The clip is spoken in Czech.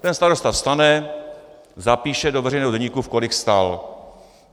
Ten starosta vstane, zapíše do veřejného deníku, v kolik vstal.